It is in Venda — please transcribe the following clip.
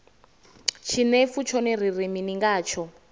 tshinefu tshone ri ri mini ngatsho